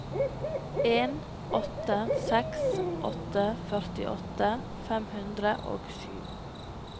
en åtte seks åtte førtiåtte fem hundre og sju